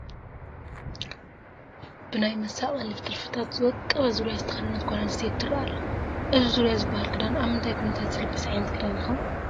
ብናይ መሳቕሊ ጥልፍታት ዝወቀበ ዙርያ ዝተኸደነ ጓል ኣነስተይቲ ትርአ ኣላ፡፡ እዚ ዙርያ ዝበሃል ክዳን ኣብ ምንታይ ኩነታት ዝልበስ ዓይነት ክዳን እዩ?